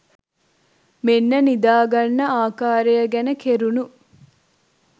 මෙන්න නිදා ගන්න ආකාරය ගැන කෙරුණු